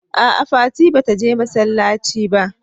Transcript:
a'a fati bata je masallaci ba